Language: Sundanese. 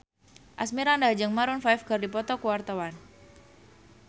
Asmirandah jeung Maroon 5 keur dipoto ku wartawan